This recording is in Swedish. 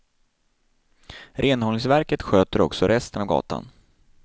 Renhållningsverket sköter också resten av gatan.